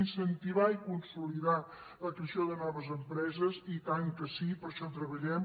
incentivar i consolidar la creació de noves empreses i tant que sí per a això treballem